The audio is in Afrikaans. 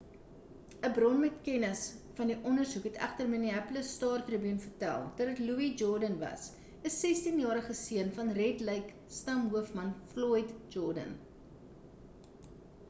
'n bron met kennis van die ondersoek het egter die minneapolis star-tribune vertel dat dit louis jourdain was 'n 16-jarige seun van red lake stam hoofman floyd jourdain